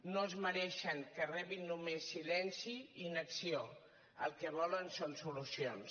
no es mereixen que rebin només silenci i inacció el que volen són solucions